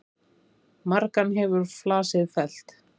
Margan hefur flasið fellt.